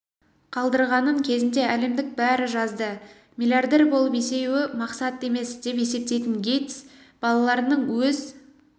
қалдырғанын кезінде әлемдік бәрі жазды миллиардер болып есею мақсат емес деп есептейтін гейтс балаларының өз